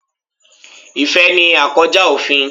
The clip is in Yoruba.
Ìfẹ́ ni à kọ́ já òfin.